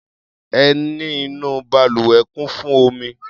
Ẹní inú balùwẹ̀ kún fún omi.